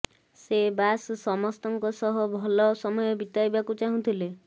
ସେ ବାସ୍ ସମସ୍ତଙ୍କ ସହ ଭଲ ସମୟ ବତାଇବାକୁ ଚାହୁଁଥିଲେ